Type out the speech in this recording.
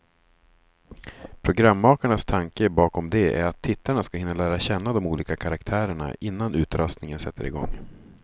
Programmakarnas tanke bakom det är att tittarna ska hinna lära känna de olika karaktärerna, innan utröstningen sätter igång.